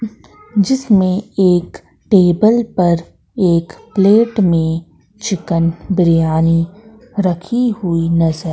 जिसमें एक टेबल पर एक प्लेट में चिकन बिरयानी रखी हुई नजर--